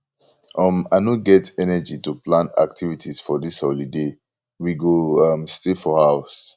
um i no get energy to plan activities for dis holiday we go um stay for house